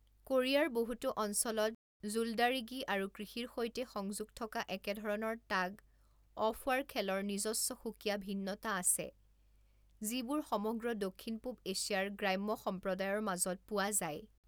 কোৰিয়াৰ বহুতো অঞ্চলত জুল্ডাৰিগি আৰু কৃষিৰ সৈতে সংযোগ থকা একেধৰণৰ টাগ অফৱাৰ খেলৰ নিজস্ব সুকীয়া ভিন্নতা আছে যিবোৰ সমগ্ৰ দক্ষিণ পূব এছিয়াৰ গ্ৰাম্য সম্প্ৰদায়ৰ মাজত পোৱা যায়।